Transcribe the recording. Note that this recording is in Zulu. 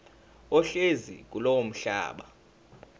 ohlezi kulowo mhlaba